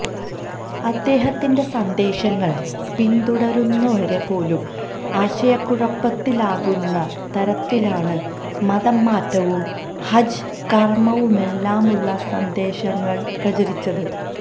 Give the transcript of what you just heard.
അദ്ദേഹത്തിന്റെ സന്ദേശങ്ങള് പിന്തുടരുന്നവരെ പോലും ആശയക്കുഴപ്പത്തിലാക്കുന്ന തരത്തിലാണ് മതംമാറ്റവും ഹജ്ജ് കര്മവുമെല്ലാമുള്ള സന്ദേശങ്ങള് പ്രചരിച്ചത്